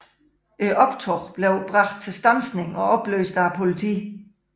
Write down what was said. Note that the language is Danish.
Optoget blev bragt til standsning og opløst af politiet